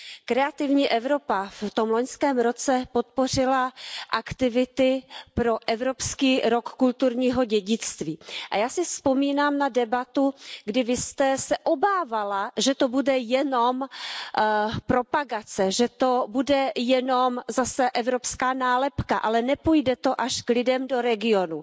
Kreativní Evropa v tom loňském roce podpořila aktivity pro Evropský rok kulturního dědictví a já si vzpomínám na debatu, kdy Vy jste se obávala, že to bude jenom propagace, že to bude jenom zase evropská nálepka, ale nepůjde to až k lidem do regionů.